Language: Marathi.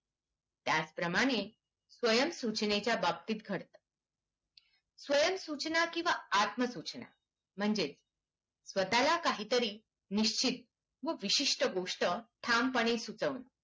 त्याच प्रमाणे स्वयम सूचनेच्या बाबतीत घडते स्वयम सूचना किवा आत्मा सूचना म्हणजेच स्वताला काहीतरी निश्चित व विशिस्ट गोस्ट ठामपणे सुचवणे